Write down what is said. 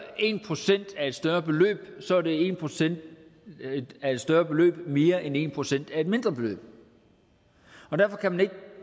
en procent af et større beløb så er en procent af et større beløb mere end en procent af et mindre beløb derfor kan man ikke